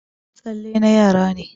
Tsalle na yara ne.